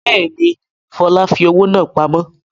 Bẹ́ẹ̀ni, Fọlá fi owó náà pamọ́.